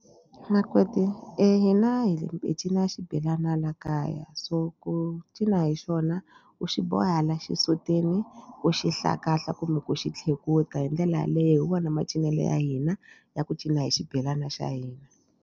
Makoti hina hi cina xibelana la kaya so ku cina hi xona u xi boha la xisutini ku xihlahla kumbe ku xi tlhekuta hi ndlela yaleyo u wona macinelo ya hina ya ku cina hi xibelana xa hina.